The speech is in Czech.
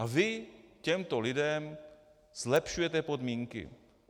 A vy těmto lidem zlepšujete podmínky.